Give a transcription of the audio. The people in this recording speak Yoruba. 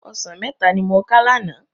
Òsán mètá ni mó ká làná